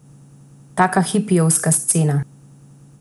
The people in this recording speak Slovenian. Taka hipijevska scena.